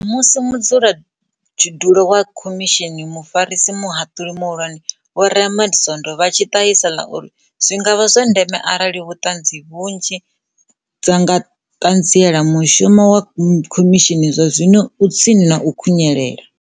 Musi mudzulatshidulo wa khomishini, Mufarisa Muhaṱuli Muhulwane Vho Raymond Zondo vha tshi ṱahisa ḽa uri zwi nga vha zwa ndeme arali ṱhanzi nnzhi dza nga ṱanziela, mushumo wa khomishini zwazwino u tsini na u khunyelela.